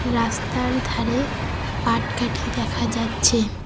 রাস্তার ধারে পাট কাটি দেখা যাচ্ছে।